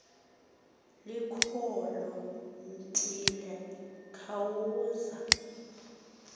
likuloo ntili ekhwaza